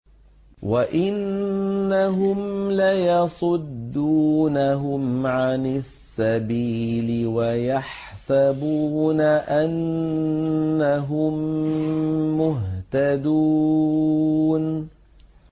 وَإِنَّهُمْ لَيَصُدُّونَهُمْ عَنِ السَّبِيلِ وَيَحْسَبُونَ أَنَّهُم مُّهْتَدُونَ